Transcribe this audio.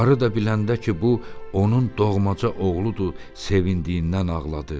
Qarı da biləndə ki, bu onun doğmaca oğludur, sevindiyindən ağladı.